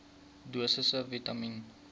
dosisse vitamien